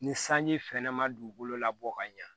Ni sanji fɛn ma dugukolo labɔ ka ɲa